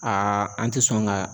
Aa an te sɔn ka